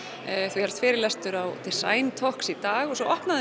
þú hélst fyrirlestur á talks í dag og svo